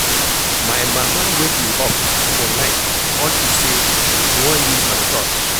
My mama wake me up for night unto say she wan use my torch.